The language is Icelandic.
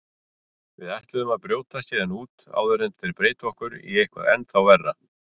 Við ætlum að brjótast héðan út áður en þeir breyta okkur í eitthvað ennþá verra.